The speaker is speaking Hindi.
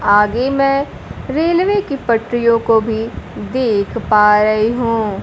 आगे मैं रेलवे की पटरियों को देख पा रही हूं।